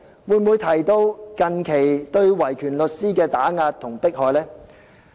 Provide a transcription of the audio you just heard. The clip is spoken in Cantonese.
會否提及近期對維權律師的打壓和迫害？